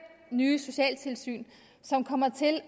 nye socialtilsyn som kommer til at